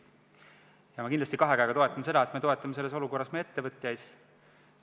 Ja ma kindlasti kahe käega toetan seda, et me abistame selles olukorras meie ettevõtjaid.